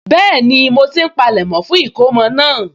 Bẹ́ẹ̀ni, mo ti ń palẹ̀mọ́ fún ìkómọ náà